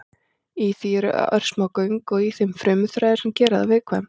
Í því eru örsmá göng og í þeim frumuþræðir sem gera það viðkvæmt.